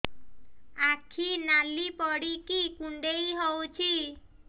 ଆଖି ନାଲି ପଡିକି କୁଣ୍ଡେଇ ହଉଛି